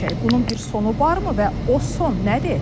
Bunun bir sonu varmı və o son nədir?